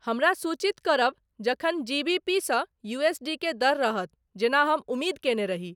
हमरा सूचित करब जखन जी.बी.पी. स. यू.एस.डी के दर रहत जेना हम उम्मीद केने रही